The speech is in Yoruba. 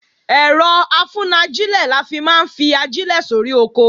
Ẹ̀rọ-afúnajílẹ̀ la fi máa ń fi ajílẹ̀ sóri oko